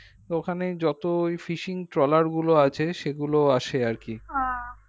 তো ওখানে যত ওই fishing trawler গুলো আছে সেগুলো আসে আর কি